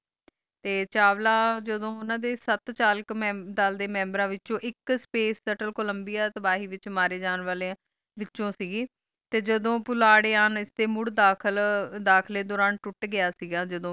तय चावला जड़ो ओना दे सात साल दे मेम्ब्रा दे विच एक स्पेस सेंट्रल कोलम्बिया दाबही दे विच मरण जवाली विचुअल सी तय जा दो पराली दी मूर दाखिल दाखिले दौरान टूट गया सी आया जा दो ऐना नो डेथ होए